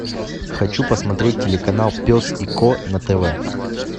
хочу посмотреть телеканал пес и ко на тв